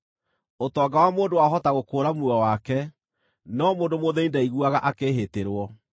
Ũtonga wa mũndũ wahota gũkũũra muoyo wake, no mũndũ mũthĩĩni ndaiguaga akĩĩhĩtĩrwo.